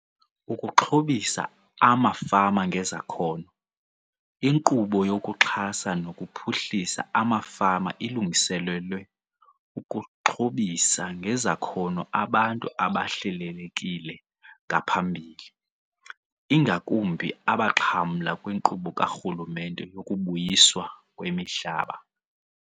Ukuxhobisa Amafama Ngezakhono. INkqubo yokuXhasa nokuPhuhlisa amaFama ilungiselelwe ukuxhobisa ngezakhono abantu abahlelelekile ngaphambili, ingakumbi abaxhamla kwinkqubo karhulumente yokuBuyiswa kwemiHlaba.